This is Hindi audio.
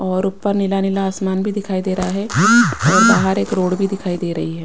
और ऊपर नीला नीला आसमान भी दिखाई दे रहा है और बाहर एक रोड भी दिखाई दे रही है।